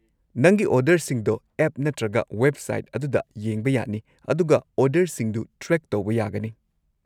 ꯅꯪꯒꯤ ꯑꯣꯔꯗꯔꯁꯤꯡꯗꯣ ꯑꯦꯞ ꯅꯠꯇ꯭ꯔꯒ ꯋꯦꯕꯁꯥꯏꯠ ꯑꯗꯨꯗ ꯌꯦꯡꯕ ꯌꯥꯅꯤ ꯑꯗꯨꯒ ꯑꯣꯔꯗꯔꯁꯤꯡꯗꯨ ꯇ꯭ꯔꯦꯛ ꯇꯧꯕ ꯌꯥꯒꯅꯤ꯫